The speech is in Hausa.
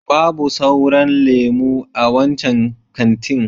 Babu sauran lemo a wancan kantin.